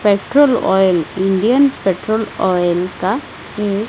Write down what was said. petrol oil Indian petrol oil का ये --